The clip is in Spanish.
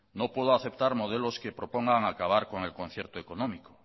no puedo aceptar modelos que propongan acabar con el concierto económico